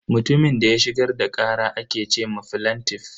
Mutumin da ya shigar da kara ake ce ma flantiff.